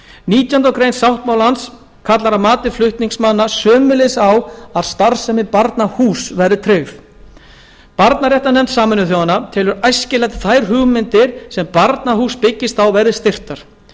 nítjánda grein sáttmálans kallar að mati flutningsmanna sömuleiðis á að starfsemi barnahúss verði tryggð barnaréttarnefnd sameinuðu þjóðanna telur æskilegt að þær hugmyndir sem barnahús byggist á verði styrktar